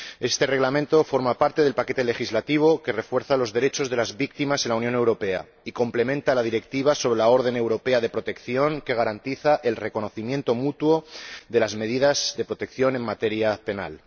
Este reglamento forma parte del paquete legislativo que refuerza los derechos de las víctimas en la Unión Europea y complementa la Directiva sobre la orden europea de protección que garantiza el reconocimiento mutuo de las medidas de protección en materia penal.